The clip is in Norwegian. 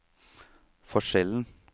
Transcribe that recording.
forskjellen